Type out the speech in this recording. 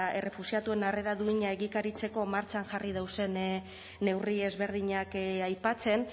errefuxiatuen harrera duina egikaritzeko martxan jarri dauzen neurri ezberdinak aipatzen